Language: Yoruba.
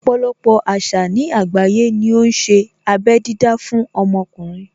Ọpọ̀lọpọ̀ àṣà ní àgbáyé ní ó ṣe abé dídá fún ọmọkùnrin.